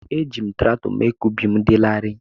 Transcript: Eji m traktọ mee ka ubi m dị larịị.